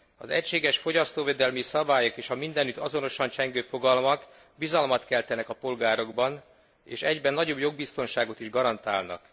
Az egységes fogyasztóvédelmi szabályok és a mindenütt azonosan csengő fogalmak bizalmat keltenek a polgárokban és egyben nagyobb jogbiztonságot is garantálnak.